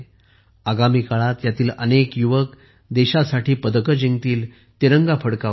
आगामी काळात यातील अनेक युवक देशासाठी पदके जिंकतील तिरंगा फडकवतील